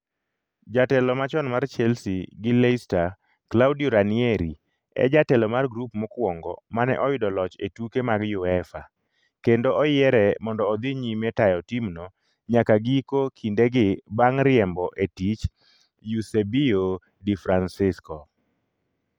jatelo machon mar Chelsea gi Leicester Claudio Ranieri e jatelo mar grup mokwongo mane oyudo loch e tuke mag Uefa, kendo oyiere mondo odhi nyime tayo timno nyaka giko kindegi bang' riembo e tich Eusebio di Francesco.